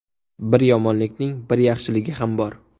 Bir yomonlikning bir yaxshiligi ham bor.